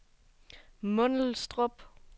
Mundelstrup